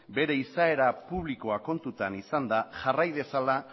bere izaera publikoa kontutan izanda jarrai dezala